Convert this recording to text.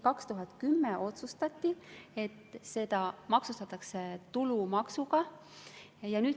2010. aastal otsustati, et see maksustatakse tulumaksuga.